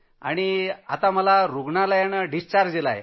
आणि मला रूग्णालयातनं डिस्चार्ज दिला